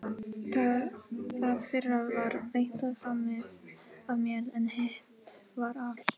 Það fyrra var reyndar framið af mér, en hitt var al